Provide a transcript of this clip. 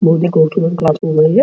कोन सी क्लास चल रही है।